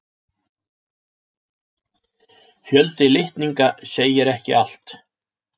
Fjöldi litninga segir ekki allt.